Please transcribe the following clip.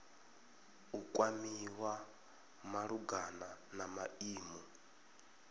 u kwamiwa malugana na maimo